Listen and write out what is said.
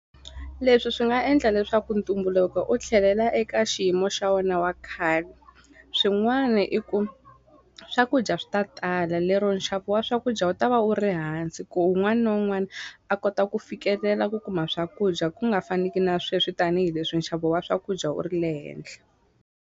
Leswi swi nga endla leswaku ntumbuluko u tlhelela eka xiyimo xa wona wa khale swin'wani i ku swakudya swi ta tala lero nxavo wa swakudya wu ta va wu ri hansi ku un'wana na un'wana a kota ku fikelela ku kuma swakudya ku nga faneki na sweswi tanihileswi nxavo wa swakudya u ri le henhla.